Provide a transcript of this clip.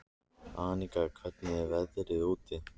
Aníka, hvernig er veðrið úti?